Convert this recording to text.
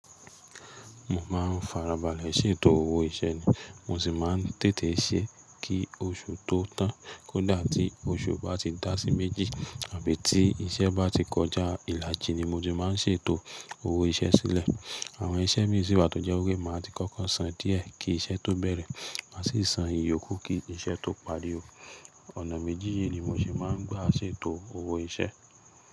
Mo máa ń farabalẹ̀ ṣètò owó iṣẹ́ ni. Mo sì máa ń tètè ṣe kí oṣù tó tán. Kódà tí oṣù bá ti dá sí méjì àbí tí iṣẹ́ bá ti kọjá, ìlàjì ni mo ti máa ń ṣètò owó iṣẹ́ sílẹ̀. Àwọn iṣẹ́ mi sì wà tó jẹ́ pé máa ti kọ́kọ́ san díẹ̀ kí iṣẹ́ tó bẹ̀rẹ̀. Mà sì san ìyókù kí iṣẹ́ tó parí o. Ọ̀nà méjì yí ni mo ṣe máa ń gbà ṣètò owó iṣẹ́.